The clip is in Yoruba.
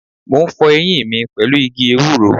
Mo ń fọ eyín mi pẹ̀lú igi ewúro.